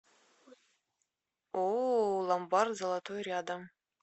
ооо ломбард золотой рядом